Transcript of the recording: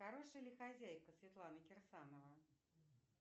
хорошая ли хозяйка светлана кирсанова